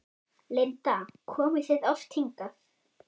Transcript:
Linda: Komið þið oft hingað?